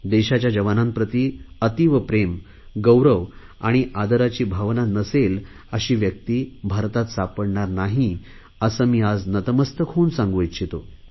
देशाच्या जवांनाप्रती अतीव प्रेम गौरव आणि आदराची भावना नसेल अशी व्यक्ती भारतात सापडणार नाही असे मी आज नतमस्तक होऊन सांगू इच्छितो